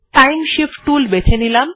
time shift টুল বেছে নিলাম